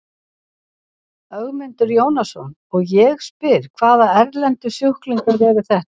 Ögmundur Jónasson: Og ég spyr, hvaða erlendu sjúklingar eru þetta?